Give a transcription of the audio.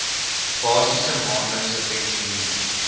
basiese maandelikse pensioen